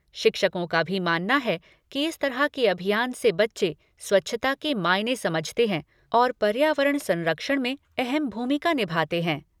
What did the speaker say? शिक्षकों का भी मानना है कि इस तरह के अभियान से बच्चे स्वच्छता के मायने समझते हैं और पर्यावरण संरक्षण में अहम भूमिका निभाते हैं।